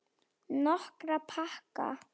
Nokkra pakka.